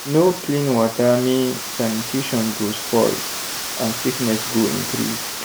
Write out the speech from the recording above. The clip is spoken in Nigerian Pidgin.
no clean water mean sanitation go spoil and sickness go increase.